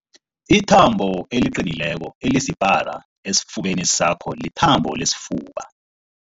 Ithambo eliqinileko elisipara esifubeni sakho lithambo lesifuba.